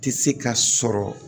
Tɛ se ka sɔrɔ